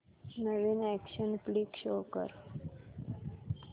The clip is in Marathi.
नवीन अॅक्शन फ्लिक शो कर